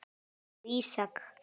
og Ísak.